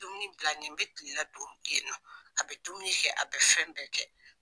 Dumuni bila nin bɛ kilela dun a bɛ dumuni kɛ a bɛ fɛn bɛɛ kɛ.